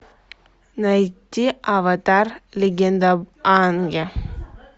найди аватар легенда об аанге